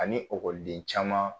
Ani ekɔliden caman